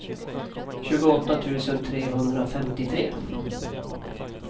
tjugoåtta tusen trehundrafemtiotre